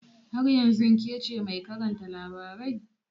Har yanzun kece mai karanta labarai?